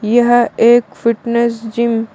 यह एक fitness gym --